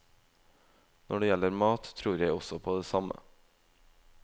Når det gjelder mat, tror jeg også på det samme.